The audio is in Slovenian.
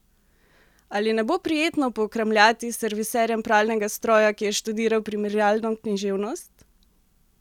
Ali ne bo prijetno pokramljati s serviserjem pralnega stroja, ki je študiral primerjalno književnost?